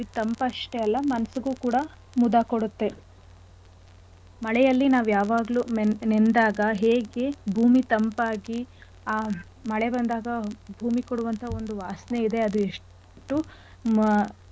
ಅಲ್ಲ ಮನ್ಸಿಗು ಕೂಡ ಮುದ ಕೊಡತ್ತೆ. ಮಳೆಯಲ್ಲಿ ನಾವ್ ಯಾವಾಗ್ಲು ನೆಂ~ ನೆಂದಾಗ ಹೇಗೆ ಭೂಮಿ ತಂಪಾಗಿ ಆ ಮಳೆ ಬಂದಾಗ ಭೂಮಿ ಕೊಡುವಂತ ಒಂದು ವಾಸನೆ ಇದೆ ಅದು ಎಷ್ಟು ಮ ಮುದದ~ ಮುದವಾಗಿರತ್ತೆ.